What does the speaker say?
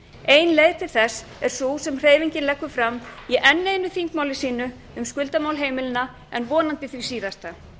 ein leið til þess er sú sem hreyfingin leggur fram í enn einu þingmáli sínu um skuldamál heimilanna en vonandi því síðasta